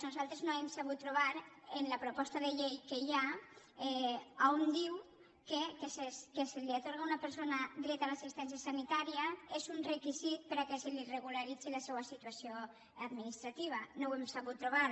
nosaltres no hem sabut trobar en la proposta de llei que hi ha on diu que que se li atorgui a una persona dret a l’assistència sanitària és un requisit perquè se li regularitzi la seua situació administrativa no ho hem sabut trobar